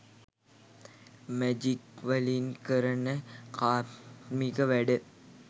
මැජික්වලින් කරන කාර්මික වැඩ